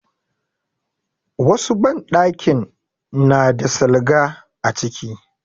Wasu banɗakin na da salga a ciki.